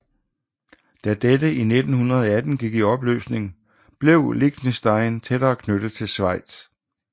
Da dette i 1918 gik i opløsning blev Liechtenstein tættere knyttet til Schweiz